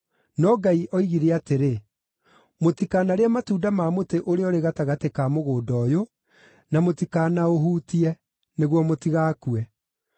no Ngai aatwĩrire atĩrĩ, ‘Mũtikanarĩe matunda ma mũtĩ ũrĩa ũrĩ gatagatĩ ka mũgũnda ũyũ, na mũtikanaũhutie, nĩguo mũtigakue.’ ”